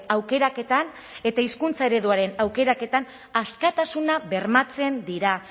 aukeraketan eta hizkuntza ereduaren aukeraketan askatasuna bermatzen dira